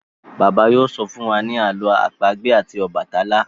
Bàbá yóò sọ fún wá ní àlọ́ àpagbè tí obatalá.